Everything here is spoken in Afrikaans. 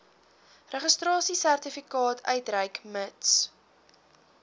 registrasiesertifikaat uitreik mits